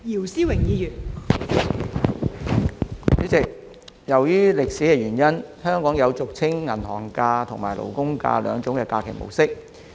代理主席，由於歷史原因，香港有俗稱"銀行假"和"勞工假"兩種假期模式。